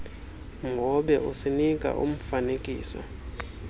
mhobe usinika umfaniso